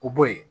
O bo yen